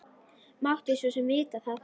Mátti svo sem vita það.